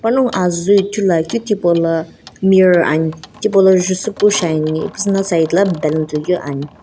panongu azii ithulu akeu thipaula mirror ani tipaula jusupu shiani ipuzuna na side la balloon toikeu ani.